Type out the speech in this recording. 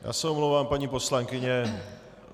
Já se omlouvám, paní poslankyně.